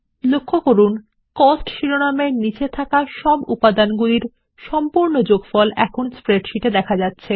দেখবেন স্প্রেডশিট এ খরচ এর অধীনে ভুক্তি গ্রান্ডটোটাল প্রদর্শন করা হয়